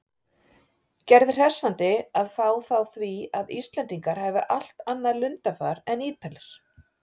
Gerði hressandi að fá þá því að Íslendingar hafi allt annað lundarfar en Ítalir.